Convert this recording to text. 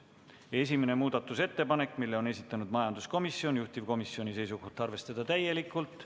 Esimese muudatusettepaneku on esitanud majanduskomisjon, juhtivkomisjoni seisukoht on arvestada seda täielikult.